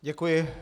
Děkuji.